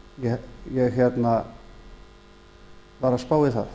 hlustaði ég var að spá í það